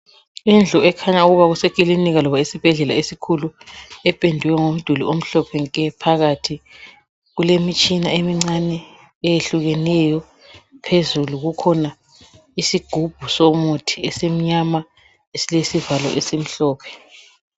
Indlu ekhanya ukuba kusekilinika noma esibhedlela esikhulu ependwe umduli umhlophe nke phakathi. Kulemitshina eyehlukeneyo phezulu kukhona isigubu esimnyama elilesivalo esimhlophe.